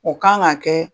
O kan ka kɛ